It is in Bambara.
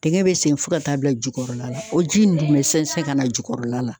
Dɛgɛn be sen fɔ ka taa bila jukɔrɔla la o ji in dun be sɛnsɛn ka na jukɔrɔla la